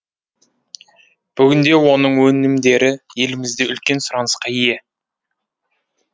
бүгінде оның өнімдері елімізде үлкен сұранысқа ие